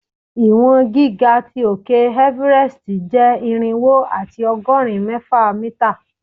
Iwọn giga ti òke Everest jẹ irinwo ati ọgọrin mẹfa mita